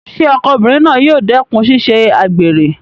Ṣé ọkọ obìnrin náà yóò dẹ́kùn ṣíṣe àgbèrè?